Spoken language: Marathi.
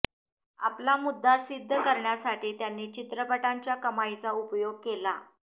आपला मुद्दा सिद्ध करण्यासाठी त्यांनी चित्रपटांच्या कमाईचा उपयोग केला